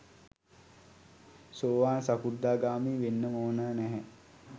සෝවාන් සකෘදාගාමී වෙන්නම ඕන නැහැ.